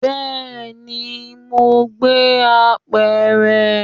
Bẹẹni, mo gbé apẹ̀rẹ̀.